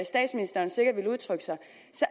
statsministeren sikkert ville udtrykke sig